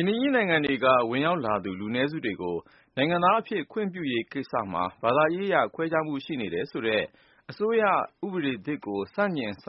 င်းနိုင်ငံတွေက ဝင်ရောက်လာသူ လူနည်းစုတွေကို နိုင်ငံသားအဖြစ် ခွင့်ပြုရေးကိစ္စမှာ ဘာသာရေးအရ ခွဲခြားမှုရှိနေတယ်ဆိုတဲ့ အစိုးရဥပဒေသစ်ကို ဆန့်ကျင် က